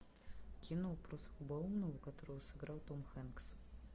кино про слабоумного которого сыграл том хэнкс